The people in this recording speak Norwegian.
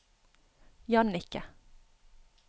Jannike